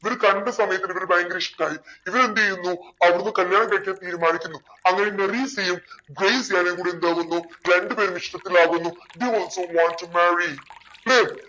ഇവര് കണ്ട സമയത്ത് ഇവർക്ക് ഭയങ്കര ഇഷ്ടായി ഇവരെന്തെയ്യുന്നു അവിടുന്ന് കല്ല്യാണ date ക്കെ തീരുമാനിക്കുന്നു അങ്ങനെ മെറീസയും ഗ്രേസിയാനും കൂടി എന്താകുന്നു രണ്ടു പേരും ഇഷ്ടത്തിലാകുന്നു. they also wants to marryclear